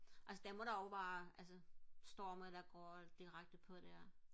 altså der må der også være altså storme der går direkte på der